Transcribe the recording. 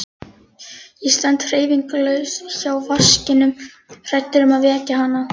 Ég stend hreyfingarlaus hjá vaskinum hræddur um að vekja hana.